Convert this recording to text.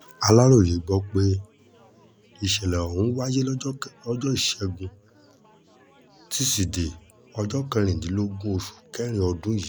aláròye gbọ́ pé ìṣẹ̀lẹ̀ ọ̀hún wáyé lọ́jọ́ ìṣẹ́gun tusidee ọjọ́ kẹrìndínlógún oṣù kẹrin ọdún yìí